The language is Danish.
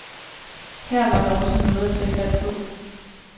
Her var der også noget at tage fat på.